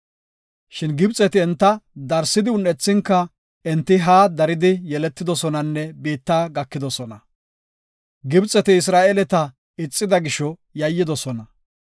Shin Gibxeti enta darsi un7ethinka enti haa daridi yeletidosonanne biitta gakidosona. Gibxeti Isra7eeleta ixida gisho yayyidosona.